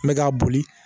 N bɛ k'a boli